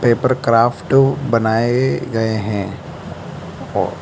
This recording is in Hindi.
पेपर क्राफ्टू बनाए गए हैं और --